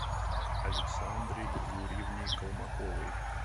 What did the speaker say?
александре юрьевне колмаковой